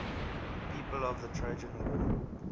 people of the trojan war